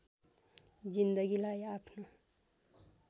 जिन्दगीलाई आफ्नो